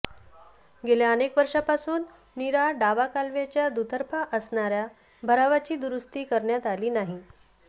गेल्या अनेक वर्षापासून नीरा डावा कालव्याच्या दुतर्फा असणाऱ्या भरावाची दुरुस्ती करण्यात आली नाही